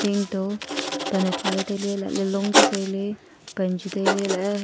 dingto pan e tuale tailey long chu tailey pan chu tailey elahe.